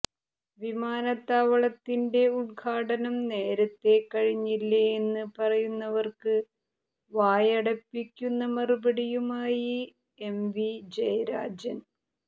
വിമാനത്താവളത്തിന്റെ ഉദ്ഘാടനം നേരത്തെ കഴിഞ്ഞില്ലേ എന്ന് പറയുന്നവര്ക്ക് വായടപ്പിക്കുന്ന മറുപടിയുമായി എംവി ജയരാജന്